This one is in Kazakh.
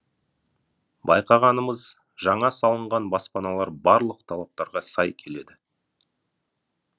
байқағанымыз жаңа салынған баспаналар барлық талаптарға сай келеді